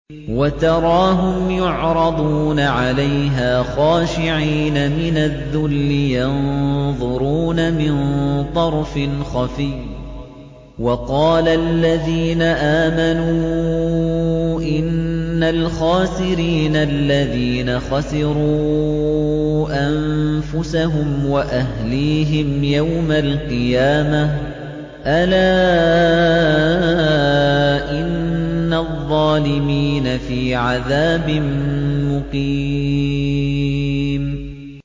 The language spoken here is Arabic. وَتَرَاهُمْ يُعْرَضُونَ عَلَيْهَا خَاشِعِينَ مِنَ الذُّلِّ يَنظُرُونَ مِن طَرْفٍ خَفِيٍّ ۗ وَقَالَ الَّذِينَ آمَنُوا إِنَّ الْخَاسِرِينَ الَّذِينَ خَسِرُوا أَنفُسَهُمْ وَأَهْلِيهِمْ يَوْمَ الْقِيَامَةِ ۗ أَلَا إِنَّ الظَّالِمِينَ فِي عَذَابٍ مُّقِيمٍ